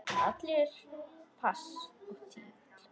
Allir pass og tígull út!